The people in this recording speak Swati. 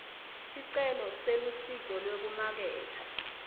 sicelo selusito lwekumaketha